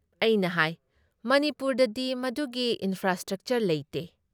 ꯑꯩꯅ ꯍꯥꯏ "ꯃꯅꯤꯄꯨꯔꯗꯗꯤ ꯃꯗꯨꯒꯤ ꯏꯟꯐ꯭ꯔꯥꯁ꯭ꯇ꯭ꯔꯛꯆꯔ ꯂꯩꯇꯦ ꯫